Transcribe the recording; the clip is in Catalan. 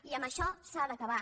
i amb això s’ha d’acabar